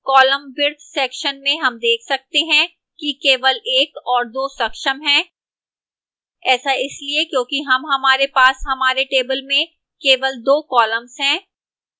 column width section में हम देख सकते हैं कि केवल 1 और 2 सक्षम हैं ऐसा इसलिए क्योंकि हम हमारे पास हमारे table में केवल 2 कॉलम्स हैं